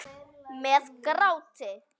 Með gráti.